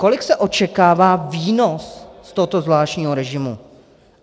Kolik se očekává výnos z tohoto zvláštního režimu?